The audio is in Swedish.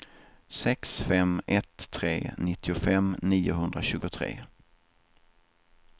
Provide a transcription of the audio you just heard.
sex fem ett tre nittiofem niohundratjugotre